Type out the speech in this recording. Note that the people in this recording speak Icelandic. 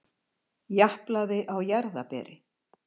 Japlaði á jarðarberi.